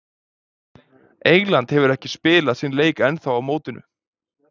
England hefur ekki spilað sinn leik ennþá á mótinu.